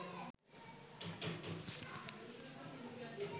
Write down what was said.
আন্তর্জাতিক অপরাধ ট্রাইবুনাল আইনে ২০০৯ সালে প্রথম সংশোধনী আনা হয়েছিল।